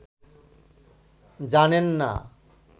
জানেন না